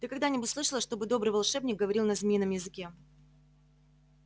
ты когда-нибудь слышала чтобы добрый волшебник говорил на змеином языке